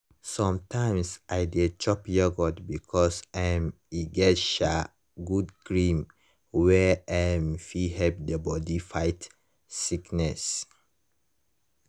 sometimes i dey chop yoghurt because um e get um good germ wey um fit help the body fight sickness